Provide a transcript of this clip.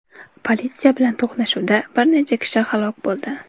Politsiya bilan to‘qnashuvda bir necha kishi halok bo‘ldi.